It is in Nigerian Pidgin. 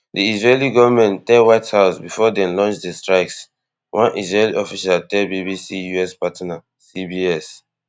di israeli gonment tell white house before dem launch di strikes one israeli official tell BBC US partner CBS